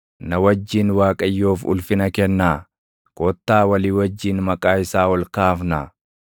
Na wajjin Waaqayyoof ulfina kennaa; kottaa walii wajjin maqaa isaa ol kaafnaa.